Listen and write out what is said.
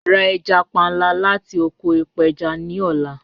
Ra ẹja panla lati oko ipeja ni ọla